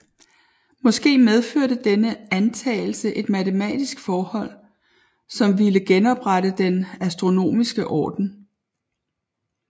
Måske medførte denne antagelse et matematisk forhold som ville genoprette den astronomiske orden